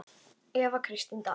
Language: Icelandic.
Eva Kristín Dal.